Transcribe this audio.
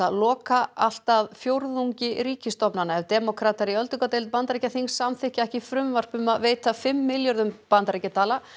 loka allt að fjórðungi ríkisstofnana ef demókratar í öldungadeild Bandaríkjaþings samþykkja ekki frumvarp um að veita fimm milljarða bandaríkjadala